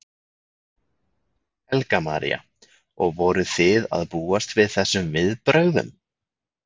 Helga María: Og voruð þið að búast við þessum viðbrögðum?